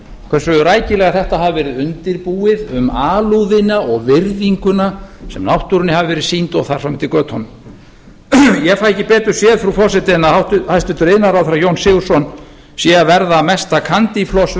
hversu rækilega þetta hafi verið undirbúið um alúðina og virðinguna sem náttúrunni hafi verið sýnd og þar fram eftir götunum ég fæ ekki betur séð frú forseti en að hæstvirtur iðnaðarráðherra jón sigurðsson sé að verða mesta candy floss